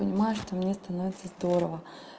понимаю что мне становится здорово